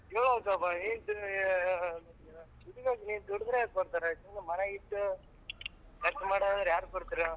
ನೀನು ಸ್ವಲ್ಪ ದುಡಿಬೇಕ್ ರೀ ದುಡಿದ್ರೆ ಕೊಡ್ತಾರೆ ಸುಮ್ನೆ ಮನೆಗಿದ್ದು ಖರ್ಚು ಮಾಡೋರ್ಗೆ ಯಾರ್ ಕೊಡ್ತಾರ ಹೇಳು?